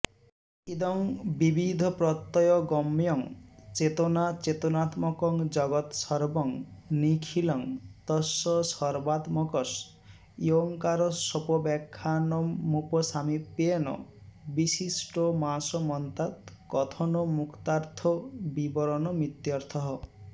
इदं विविधप्रत्ययगम्यं चेतनाचेतनात्मकं जगत् सर्वं निखिलं तस्य सर्वात्मकस्योंकारस्योपव्याख्यानमुप सामीप्येन विस्पष्टमासमन्तात्कथनमुक्तार्थविवरणमित्यर्थः